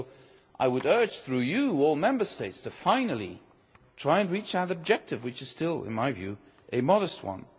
So I would urge, through you, all the Member States finally to try and reach our objective, which is still in my view a modest one.